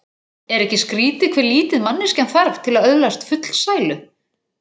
Er ekki skrýtið hve lítið manneskjan þarf til að öðlast fullsælu?